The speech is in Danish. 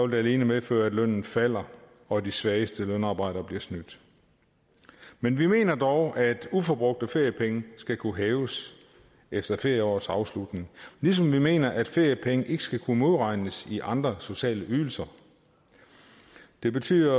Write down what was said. det alene medføre at lønnen falder og at de svageste lønarbejdere bliver snydt men vi mener dog at uforbrugte feriepenge skal kunne hæves efter ferieårets afslutning ligesom vi mener at feriepenge ikke skal kunne modregnes i andre sociale ydelser det betyder